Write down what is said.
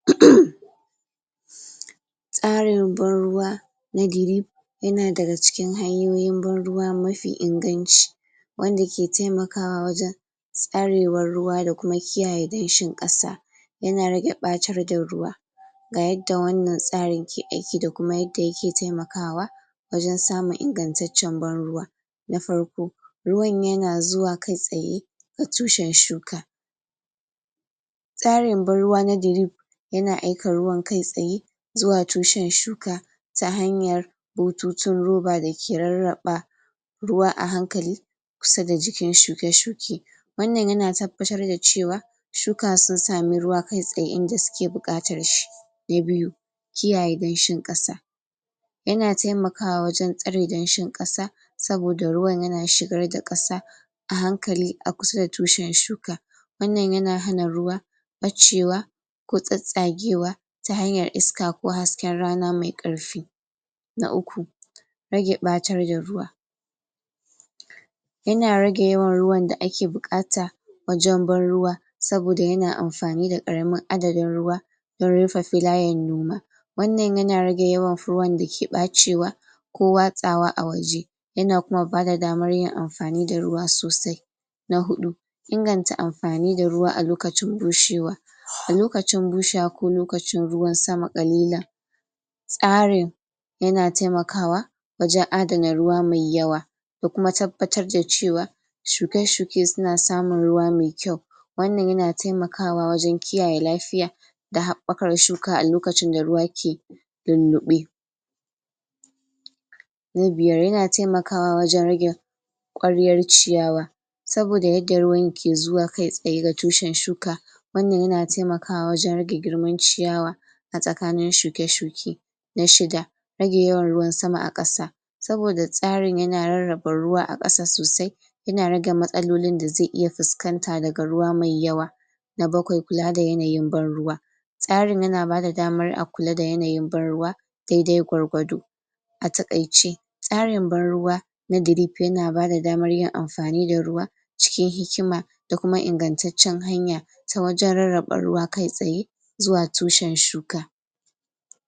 Tsaren ban ruwa na dirip ya na da ga cikin hanyoyin ban ruwa mafi inganci wanda ke taimakawa wajen tsarewan ruwa da kuma kiyaye danshin kasa ya na rage bacar da ruwa ga yadda wannan tsari ke aiki da kuma yadda ya ke taimakawa wajen samun ingantacen ban ruwa na farko ruwan ya na zuwa kai tsaye ga tushen shuka tsarin ban ruwa na dirip yana aika ruwan kai tsaye zuwa tushen shuka ta hanyar bututun roba da ke raraɓa ruwa ahankali kusa da jikin shuke-shuke wannan ya na tabbatar da cewa shuka sun sami ruwa kai tsaye inda su ke bukatar shi na biyu, kiyaye danshin kasa ya na taimakawa wajen tsarin danshin kasa saboda ruwan ya na shigar da kasa ahankali a kusa da tushin shuka wannan ya na hana ruwa bacewa ko tsatsagewa ta hanyar iska ko hasken rana mai karfi. Na uku rage batar da ruwa ya na rage yawan ruwan da a ke bukata wajen ban ruwa saboda ya na amfani da karamin adadin ruwa ta rufa filayen noma wannan ya na rage yawan da ke bacewa ko watsawa a waje ya na kuma ba da damar yin amfani da ruwa sosai. Na hudu inganta amfani da ruwa a lokacin bushewa. A lokacin bushewa ko lokacin ruwan sama kalila Tsarin ya na taimakawa wajen addana ruwa mai yawa da kuma tabbatar da cewa shuke-shuke su na samun ruwa mai kyau wannan ya na taimakawa wajen kiyaye lafiya da haɓakar shuka a lokacin da ruwa ke lullebe. Na biyar ya na taimakawa wajen rage kwariyar ciyawa saboda yadda ruwan ke zuwa kai tsaye ga tushen shuka wannan ya na taimakawa wajen rage girman ciyawa a tsakanin shuke-shuke na shiga rage yawan ruwan sama a kasa saboda tsarin ya na raraba ruwa a kasa sosai ya na rage matsaloli da ze iya fuskanta da ga ruwa mai yawa. Na bakwai, kulla da yanayin ban ruwa tsarin ya na ba da damar a kulla da yanayin ban ruwa daidai gwargwado a takaici. Tsarin ban ruwa na dirip ya na ba da damar yin amfani da ruwa cikin hikima da kuma ingantacen hanya ta wajen raraɓa ruwa kai tsaye zuwa tushin shuka.